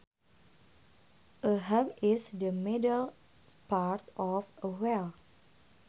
A hub is the middle part of a wheel